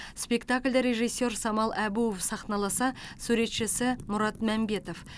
спектакльді режиссер самал әбуов сахналаса суретшісі мұрат мәмбетов